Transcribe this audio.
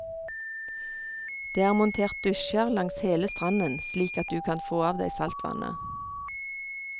Det er montert dusjer langs hele stranden slik at du kan få av deg saltvannet.